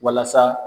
Walasa